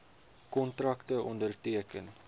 kontrakte onderteken